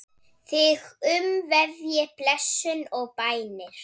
Þig umvefji blessun og bænir.